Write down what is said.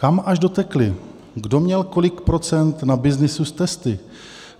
Kam až dotekly, kdo měl kolik procent na byznysu s testy?